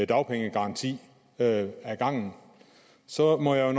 dagpengegaranti ad gangen så må jeg